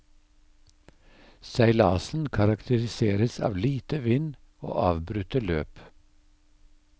Seilasen karakteriseres av lite vind og avbrutte løp.